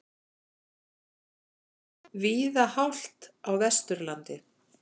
Víða hált á Vesturlandi